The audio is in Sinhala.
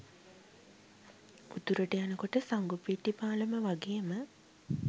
උතුරට යනකොට සංගුපිට්ටි පාලම වාගේම